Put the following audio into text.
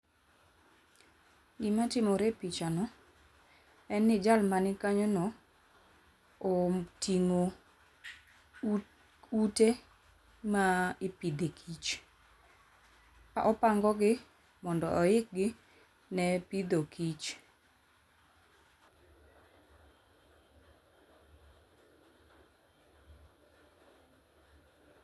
Gimatimore e picha no en ni jal manikanyo no oting'o ute ma ipidhe kich. Opango gi mondo oikgi ne pidho kich